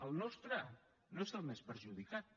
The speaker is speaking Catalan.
el nostre no és el més perjudicat